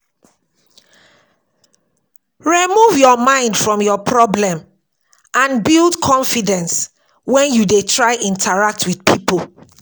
Remove your mind from your problem and build confidence when you dey try interact with pipo